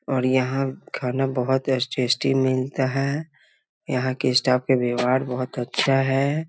और यहाँ खाना बहुत टेस्टी मिलता है यहाँ के स्टाफ के व्यवहार बहुत अच्छा है ।